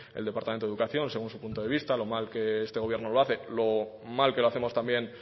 el departamento de educación según su punto de vista lo mal que este gobierno lo hace lo mal que lo hacemos también